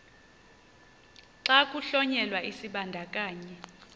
xa kuhlonyelwa isibandakanyi